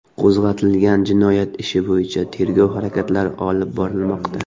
Qo‘zg‘atilgan jinoyat ishi bo‘yicha tergov harakatlari olib borilmoqda.